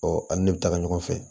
an ni ne bɛ taga ɲɔgɔn fɛ